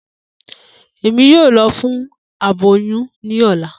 Emi yoo lọ fun aboyun ni ọla.